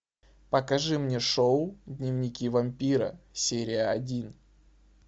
покажи мне шоу дневники вампира серия один